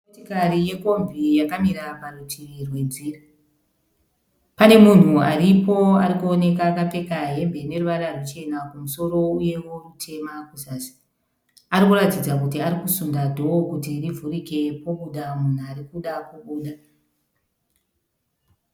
Motokari yekombi yakamira parutivi rwenzira. Pane munhu aripo ari kuoneka akapfeka hembe ine ruvara ruchena kumusoro uyewo rwutema kuzasi. Ari kuratidza kuti ari kusunda dhoo kuti rivhurike pobuda munhu ari kuda kubuda.